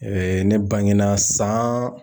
ne bangena san